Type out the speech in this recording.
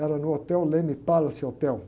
Era no hotel Leme Palace Hotel.